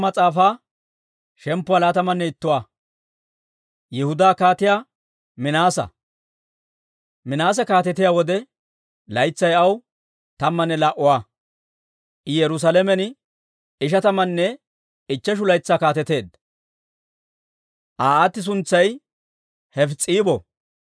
Minaase kaatetiyaa wode laytsay aw tammanne laa"aa; I Yerusaalamen ishatamanne ichcheshu laytsaa kaateteedda. Aa aati suntsay Hefis's'iibo.